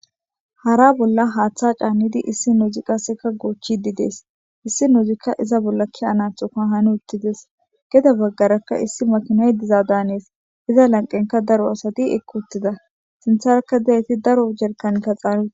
Hara bolla haththa caanidi issinozi qasseka gochidi de'es issinozika iza bolla ke'anatoka hanutides gede baggaraka issi makinay diza danes iza laniqenika daro asati equtida sintaraka diyayit daro jerikaneta canutida.